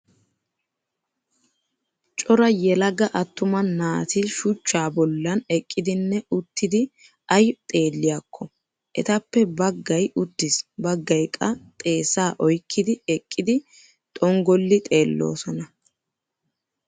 Cora yelaga attuma naati shuchchaa bollan eqqidinne uttidi ayi xeelliyaakko. Etappe baggayi uttis baggayi qa xeessa oyikkidi eqqidi xonggolli xeelloosona.